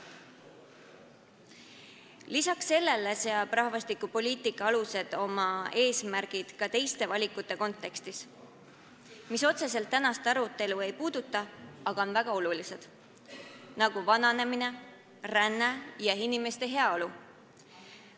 Lisaks sellele seavad rahvastikupoliitika alused oma eesmärgid ka teiste valikute kontekstis, mis otseselt tänast arutelu ei puuduta, aga on väga olulised, pean silmas näiteks vananemist, rännet ja inimeste heaolu.